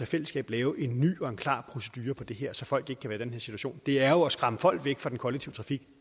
fællesskab lave en ny og klar procedure for det her så folk i den her situation det er jo at skræmme folk væk fra den kollektive trafik